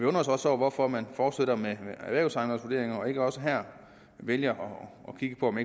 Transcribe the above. os også over hvorfor man fortsætter med erhvervsejendomsvurderingerne og ikke også her vælger at kigge på om